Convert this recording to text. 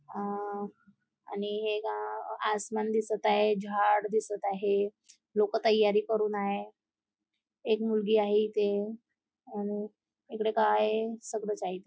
अ आणि हे गाव आसमान दिसत आहे झाड दिसत आहे लोक तयारी करून आहे एक मुलगी आहे इथे आणि इकडे काय सगळच आहे ती--